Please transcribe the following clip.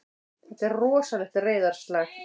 Þetta er rosalegt reiðarslag!